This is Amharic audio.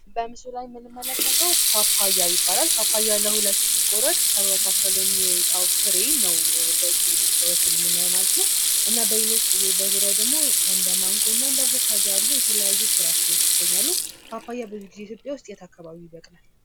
በምስሉ ላይ የምንመለከተው ፓፓያ ይባላል ፓፓያ ለሁለት ሲቆረጥ ከመካከሉ የሚወጣው ፍሬ ነው በዚ በኩል ምናየው ማለት እና ሌሎችም በዙሪያው ደሞ እንደ ማንጎና አቮካዶ ያሉ የተለያዩ ፍራፍሬዎች ይገኛሉ:: ፓፓያ ብዙ ጊዜ ኢትዮጵያ ዉስጥ የት አካባቢ ይበቅላል ?